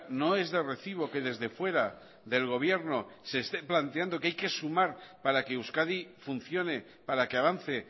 no es de recibo que desde fuera del gobierno se esté planteando que hay que sumar para que euskadi funcione para que avance